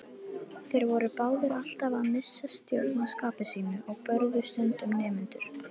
Þeir voru báðir alltaf að missa stjórn á skapi sínu og börðu stundum nemendur.